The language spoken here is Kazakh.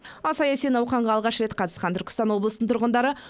ал саяси науқанға алғаш рет қатысқан түркістан облысының тұрғындары